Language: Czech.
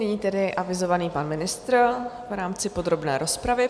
Nyní tedy avizovaný pan ministr v rámci podrobné rozpravy.